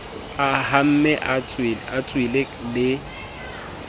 a hamme e tswele le